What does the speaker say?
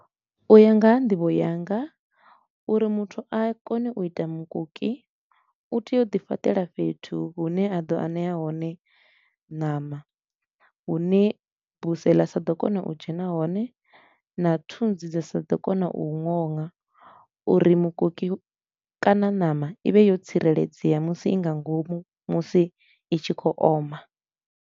U ya nga ha nḓivho yanga, uri muthu a kone u ita mukoki u tea u di fhaṱela fhethu hune a ḓo anea hone ṋama. Hune buse ḽa sa ḓo kona u dzhena hone na thunzi dza sa ḓo kona u nona uri mukoki kana ṋama i vhe yo tsireledzea musi i nga ngomu musi i tshi khou oma.